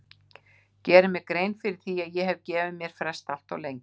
Geri mér grein fyrir að ég hef gefið mér frest allt of lengi.